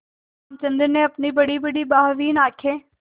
रामचंद्र ने अपनी बड़ीबड़ी भावहीन आँखों